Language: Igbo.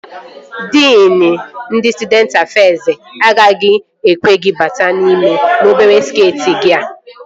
Diin ndị Stụdenti Afez agaghị ekwe gị bata n'ime n'obere skeeti gị a